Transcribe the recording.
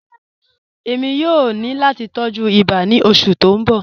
Ẹ̀mi yòó ní láti tọ̀jú ìbà ní ọṣù tí n bọ̀.